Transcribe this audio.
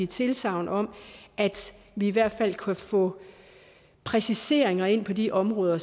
tilsagn om at vi i hvert fald kan få præciseringer ind på de områder